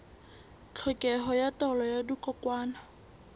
tlhokeho ya taolo ya dikokwanyana